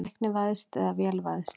Tæknivæðst eða vélvæðst?